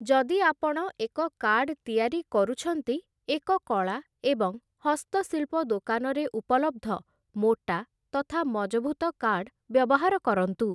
ଯଦି ଆପଣ ଏକ କାର୍ଡ଼ ତିଆରି କରୁଛନ୍ତି, ଏକ କଳା ଏବଂ ହସ୍ତଶିଳ୍ପ ଦୋକାନରେ ଉପଲବ୍ଧ ମୋଟା ତଥା ମଜଭୁତ କାର୍ଡ଼ ବ୍ୟବହାର କରନ୍ତୁ ।